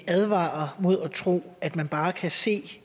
at advare mod at tro at man bare kan se